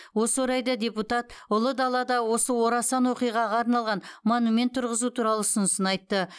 осы орайда депутат ұлы далада осы орасан оқиғаға арналған монумент тұрғызу туралы ұсынысын айтты